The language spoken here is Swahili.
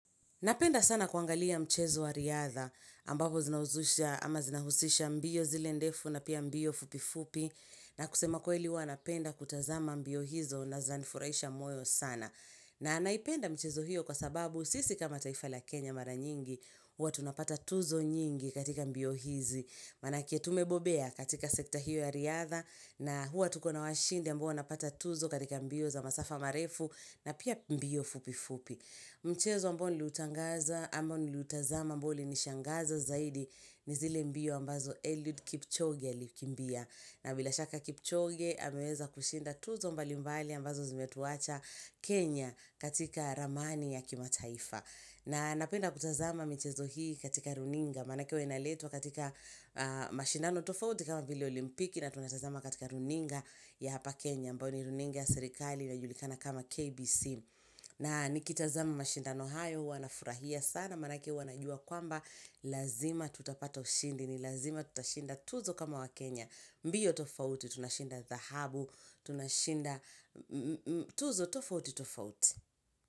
Napenda sana kuangalia mchezo wa riadha ambapo zinahuzusha ama zinahusisha mbio zile ndefu na pia mbio fupi fupi na kusema ukweli huwa napenda kutazama mbio hizo na zinanifurahisha moyo sana na naipenda michezo hiyo kwa sababu sisi kama taifa la Kenya mara nyingi huwa tunapata tuzo nyingi katika mbio hizi maana yake tumebobea katika sekta hiyo ya riadha na huwa tuko na washindi ambao wanapata tuzo katika mbio za masafa marefu na pia mbio fupi fupi Mchezo ambao niliutangaza ambao niliutazama ambao ulinishangaza zaidi ni zile mbio ambazo Eliud Kipchoge alikimbia na bila shaka Kipchoge ameweza kushinda tuzo mbali mbali ambazo zimetuacha Kenya katika ramani ya kimataifa na napenda kutazama michezo hii katika runinga maana yake huwa inaletwa katika mashindano tofauti kama vile olimpiki na tunatazama katika runinga ya hapa Kenya ambayo ni runinga ya serikali inayojulikana kama KBC na nikitazama mashindano hayo huwa nafurahia sana maanake huwa najua kwamba lazima tutapata ushindi ni lazima tutashinda tuzo kama wakenya. Mbio tofauti tunashinda dhahabu tunashinda tuzo tofauti tofauti.